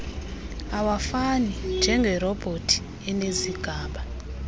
awafani njengerobhothi enezigaba